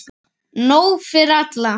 Nóg fyrir alla!